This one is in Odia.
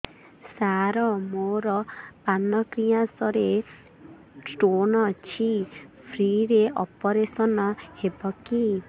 ସାର ମୋର ପାନକ୍ରିଆସ ରେ ସ୍ଟୋନ ଅଛି ଫ୍ରି ରେ ଅପେରସନ ହେବ କି